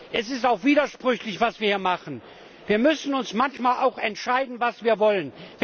Es ist auch widersprüchlich, was wir hier machen. Wir müssen uns manchmal auch entscheiden, was wir wollen.